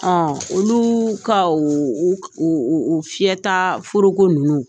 Ɔn oluu ka o o o o fiyɛta foroko ninnu